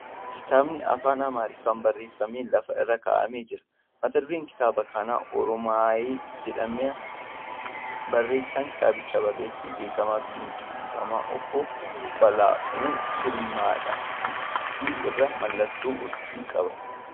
Kitaabni Afaan Amaariffaan barreeffamee lafa irra kaa'amee jira. Mata dureen kitaaba kanaa ' Oroomaay ' jedhama . Barreessan kitaabichaa barreessaa beeekamaa fi dinqisiifamaa obbbo Ba'aaluu Girmaadha. Gidduu irraa mallattoo urjii qaba.